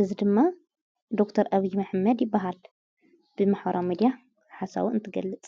እዝ ድማ ዶር ኤብ ምሕመድ ይበሃል ብምኅራ መዲያ ሓሳዊ እንትገልጸ